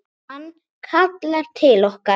Hann kallar til okkar.